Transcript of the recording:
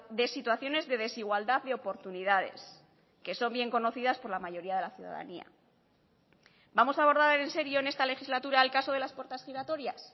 de situaciones de desigualdad de oportunidades que son bien conocidas por la mayoría de la ciudadanía vamos a abordar en serio en esta legislatura el caso de las puertas giratorias